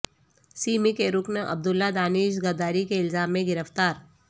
semi کے رکن عبداللہ دانش غداری کے الزام میں گرفتار